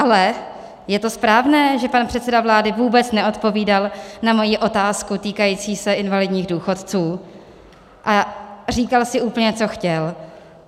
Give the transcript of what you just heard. Ale je to správné, že pan předseda vlády vůbec neodpovídal na moji otázku týkající se invalidních důchodců a říkal si úplně, co chtěl?